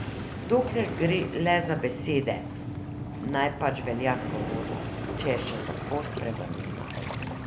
Dokler gre le za besede, naj pač velja svoboda, če je še tako sprevrnjena.